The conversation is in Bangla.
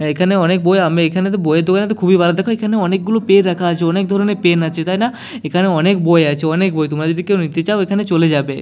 এখানে অনেক বই আমি এখানে তো বই এর দোকানে তো খুবই ভালো দেখো এখানে অনেকগুলো পেন রাখা আছে অনেক ধরনের পেন আছে তাই না এখানে অনেক বই আছে অনেক বই তোমরা যদি কেউ নিতে চাও এখানে চলে যাবে।